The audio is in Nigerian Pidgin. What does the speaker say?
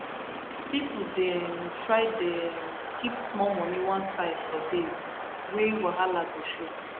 people dey um try dey um keep small money one side for days wey wahala go show